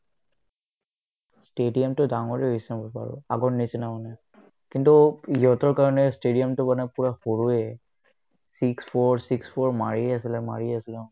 stadium টো ডাঙৰে হৈছে বাৰু আগৰ নিচিনা মানে কিন্তু ইহতৰ কাৰণে stadium টো মানে পূৰা সৰুয়ে six four six four মাৰিয়ে আছিলে মাৰিয়ে আছিলে